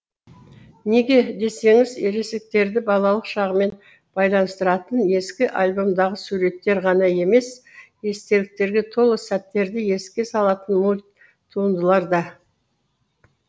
неге десеңіз ересектерді балалық шағымен байланыстыратын ескі альбомдағы суреттер ғана емес естеліктерге толы сәттерді еске салатын мульт туындылар да